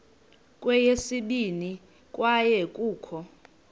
kweyesibini kwaye kukho